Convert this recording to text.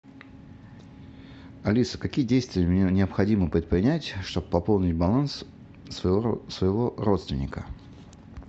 алиса какие действия мне необходимо предпринять что бы пополнить баланс своего родственника